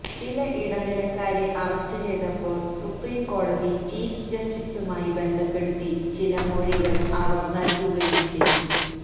ചില ഇടനിലക്കാരെ അറസ്റ്റ് ചെയ്തപ്പോള് സുപ്രീംകോടതി ചീഫ് ജസ്റ്റിസുമായി ബന്ധപ്പെടുത്തി ചില മൊഴികള് അവര് നല്കുകയും ചെയ്തു